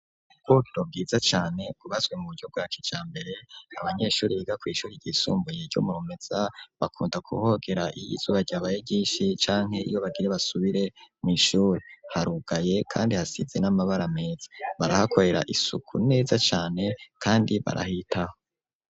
Ubwubamo bwiza cane kubaswe mu bujyo bwak icya mbere abanyeshuri bigakwishuri yisumbu yero murumetza bakunda kuhogera iy izuba ryabaye gishi canke iyo bagire basubire mu ishuri harugaye kandi hasize n'amabara meza barahakorera isuku neza cane kandi barahitaho.